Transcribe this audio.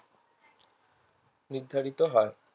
নিধারিত হয়